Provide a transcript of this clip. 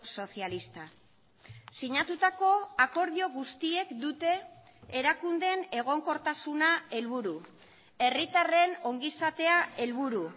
socialista sinatutako akordio guztiek dute erakundeen egonkortasuna helburu herritarren ongizatea helburu